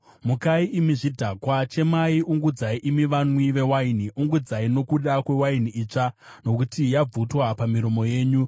Mukai imi zvidhakwa, chemai! Ungudzai imi vanwi vewaini; ungudzai nokuda kwewaini itsva, nokuti yabvutwa pamiromo yenyu.